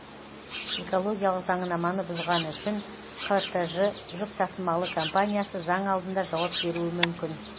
экологиялық заңнаманы бұзғаны үшін қтж жүк тасымалы компаниясы заң алдында жауап беруі мүмкін